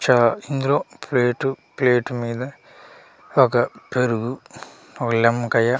చ ఇందులో plate plate మీద ఒక పెరుగు ఒ లిమ్మకాయ --